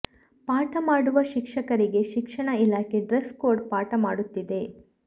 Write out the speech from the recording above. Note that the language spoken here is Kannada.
ಪಾಠ ಮಾಡುವ ಶಿಕ್ಷಕರಿಗೆ ಶಿಕ್ಷಣ ಇಲಾಖೆ ಡ್ರೆಸ್ ಕೋಡ್ ಪಾಠ ಮಾಡುತ್ತಿದೆ